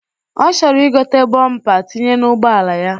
Ọ chọrọ igote bọmpa tinye n'ụgbọala ya